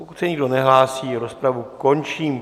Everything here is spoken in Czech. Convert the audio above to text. Pokud se nikdo nehlásí, rozpravu končím.